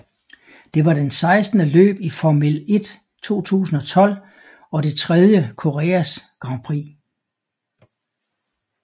Det var den sekstende løb i Formel 1 2012 og det tredje Koreas Grand Prix